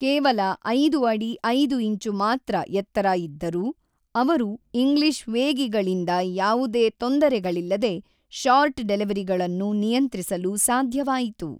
ಕೇವಲ ಐದು ಅಡಿ ಐದು ಇಂಚು ಮಾತ್ರ ಎತ್ತರ ಇದ್ದರೂ, ಅವರು ಇಂಗ್ಲಿಷ್ ವೇಗಿಗಳಿಂದ ಯಾವುದೇ ತೊಂದರೆಗಳಿಲ್ಲದೆ ಶಾರ್ಟ್‌ ಡೆಲಿವರಿಗಳನ್ನು ನಿಯಂತ್ರಿಸಲು ಸಾಧ್ಯವಾಯಿತು.